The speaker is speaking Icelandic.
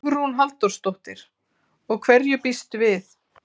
Hugrún Halldórsdóttir: Og hverju býstu við?